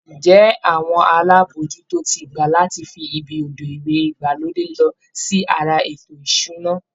Ǹjẹ́ àwọn alábòójútó ti gbà láti fi ibi odò ìwẹ̀ ìgbàlódé sí ara ètò ìṣúná?